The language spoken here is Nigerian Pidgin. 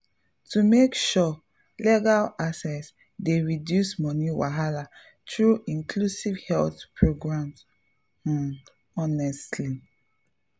to make sure legal access dey reduce money wahala through inclusive health programs pause honestly.